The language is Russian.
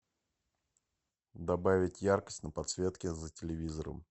добавить яркость на подсветке за телевизором